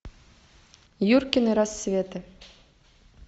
юркины рассветы